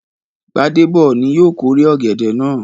Gbádéb ni yóò kórè ọ̀gẹ̀dẹ̀ náà.